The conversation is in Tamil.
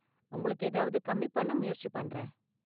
உங்களுக்கு ஏதாவது கம்மி பண்ண முயற்சி பண்றேன்.